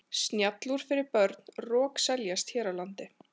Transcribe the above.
Snjallúr fyrir börn rokseljast hér á landi.